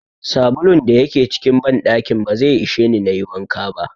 Sabulun da yake cikin banɗakin ba zai isheni nayi wanka ba.